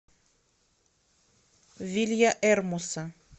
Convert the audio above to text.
вильяэрмоса